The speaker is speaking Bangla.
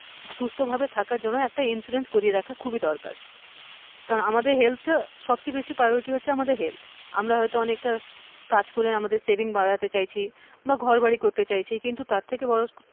সুস্থ ভাবে থাকার জন্য একটা insurance করিয়ে খুবই রাখা দরকার তা আমাদের health টা, সবচেয়ে বেশি priority আমাদের health আমরা হচ্ছি অনেকটা আমরা কাজ করি হয়তো আমাদের savings বাড়াতে চাইছি বা ঘড়বাড়ি করতে চাইছি কিন্তু তারথেকে বড়ো,